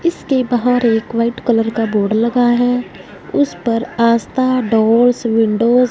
इसके बाहर एक वाइट कलर का बोर्ड लगा है। उस पर आस्था डोर्स विंडोज --